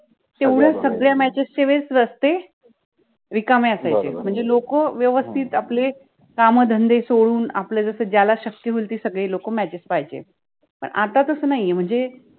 एवढ्या सगळ्या matches च्या वेळेस रस्ते रिकामे असायचे, म्हणजे लोक व्यवस्थित आपले कामधंदे सोडून आपले जसे ज्याला शक्य होइल ते सगळे लोक matches पाहायचे, पण आता तस नाहि आहे म्हणजे